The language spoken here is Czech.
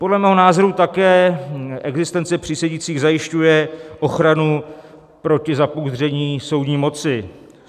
Podle mého názoru také existence přísedících zajišťuje ochranu proti zapouzdření soudní moci.